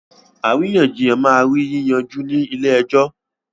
Àríyànjiyàn máa rí yí yanjú ni ilẹ̀ èjò